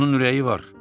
Onun ürəyi var.